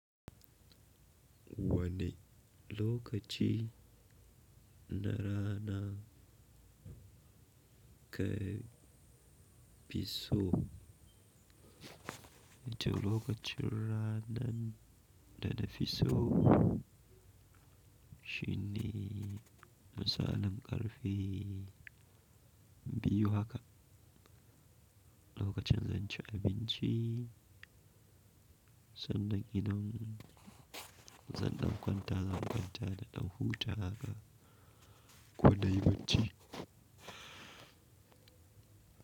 Wani lokaci na rana ka fi so, to lokacin ranan da ta fi so. Shin ne misalan ƙarfe biyu haka, lokacin zan ci abinci sannan idan zan ɗau kwanta zan kwanta da ɗau huta haka ko na yi bacci.